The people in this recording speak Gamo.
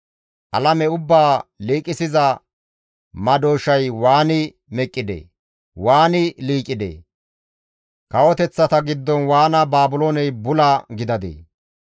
Alame ubbaa liiqisiza madooshay waani meqqidee? Waani liiqidee? Kawoteththata giddon waana Baabilooney bula gidadee?